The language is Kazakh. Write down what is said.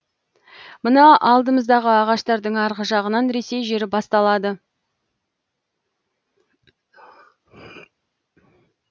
мына алдымыздағы ағаштардың арғы жағынан ресей жері басталады